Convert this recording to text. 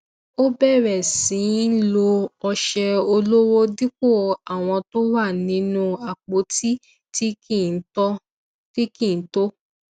ó bẹrẹ sí í lo ọṣẹ ọlọwọ dipo àwọn tó wà nínú apoti tí kì í tọ